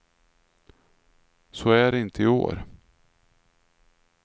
Så är det inte i år.